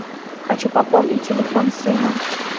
хочу пополнить телефон сына